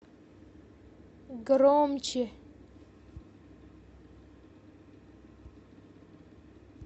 громче